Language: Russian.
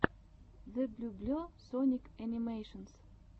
зэблюбле соник энимэйшенс